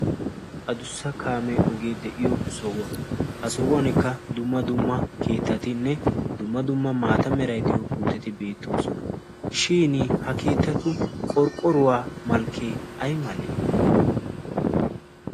Adussa kaamee ogee de'iyo sohuwaa ha sohuwankka dumma dumma keettatinne dumma dumma maata meray diyo puuteti beettoosona shin ha keettatu qorqqoruwaa malkkee ay malee